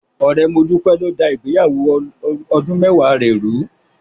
Ọ̀rẹ́ Modúpẹ́ ló dá ìgbéyàwó ọdún mẹ́wàá rẹ̀ rùú.